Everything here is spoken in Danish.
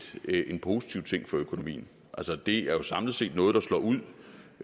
set en positiv ting for økonomien altså det er jo samlet set noget der slår ud